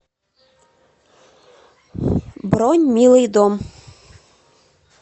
бронь милый дом